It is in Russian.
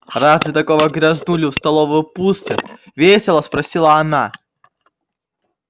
разве такого грязнулю в столовую пустят весело спросила она